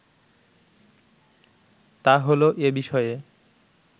তা হলো এ বিষয়ে